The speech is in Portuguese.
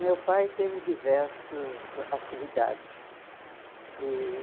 Meu pai teve diversas atividades. E